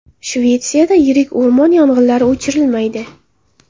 Shvetsiyada yirik o‘rmon yong‘inlari o‘chirilmaydi.